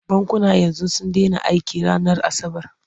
Bankuna yanzu sun dena aiki ranar asabar.